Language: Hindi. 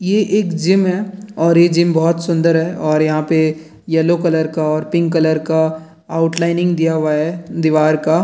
ये एक जिम है और ये जिम बहोत सुंदर है और यहाँ पे येलो कलर का और पिंक कलर का आउट लाइनिंग दिया हुआ है दीवार का।